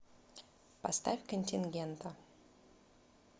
поставь контингента